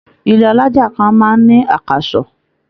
Ilé alájà kan máa ń ní àkàsọ̀.